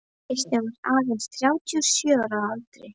Kristján var aðeins þrjátíu og sjö ára að aldri.